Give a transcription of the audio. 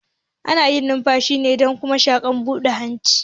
Ana numfashi ne da kuma shinshina abu da hanci